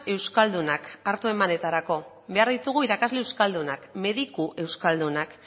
euskaldunak hartu emanetarako behar ditugu irakasle euskaldunak mediku euskaldunak